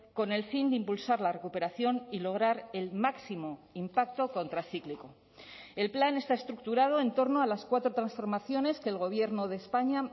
con el fin de impulsar la recuperación y lograr el máximo impacto contracíclico el plan está estructurado en torno a las cuatro transformaciones que el gobierno de españa